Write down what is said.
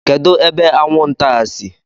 Kedu ebe anwụ nta a si?